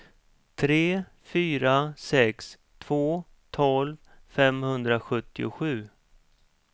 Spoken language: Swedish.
tre fyra sex två tolv femhundrasjuttiosju